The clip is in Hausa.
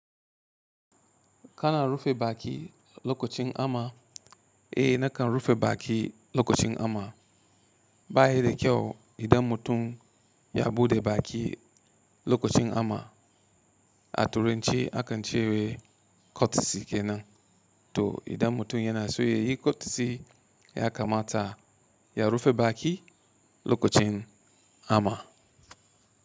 Kana rufe baki lokacin ama? Eh nakan rufe baki lokacin ama. Ba yi da kyau idan mutum ya buɗe baki lokacin hamma. A turance akan cewa kotci kenan, to idan mutum yana so ya yi kotci ya kamata ya rufe baki lokacin hamma.